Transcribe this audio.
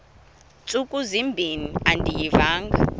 ntsuku zimbin andiyivanga